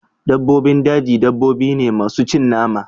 Dabbobin daji dabbobi ne masu cin nama